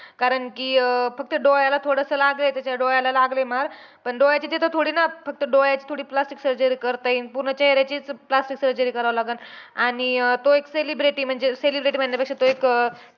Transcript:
कारण कि अं फक्त डोळ्याला थोडसं लागलंय त्याच्या. डोळ्याला लागलंय मार. पण डोळ्याच्या तिथं थोडी ना, फक्त डोळ्याची थोडी plastic surgery करता येईल. पूर्ण चेहऱ्याचीचं plastic surgery करावी लागलं. आणि तो एक celebrity म्हणजे celebrity म्हणण्यापेक्षा तो एक अं